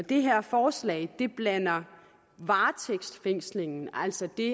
det her forslag blander varetægtsfængslingen altså det